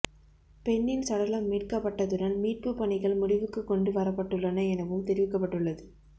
பெண்ணின் சடலம் மீட்கப்பட்டதுடன் மீட்புப் பணிகள் முடிவுக்குக் கொண்டு வரப்பட்டுள்ளன எனவும் தெரிவிக்கப்பட்டுள்ளது